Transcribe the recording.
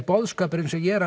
boðskapurinn sem ég er